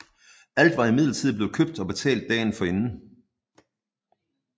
Alt var imidlertid blevet købt og betalt dagen inden